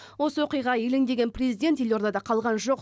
осы оқиға елеңдеген президент елордада қалған жоқ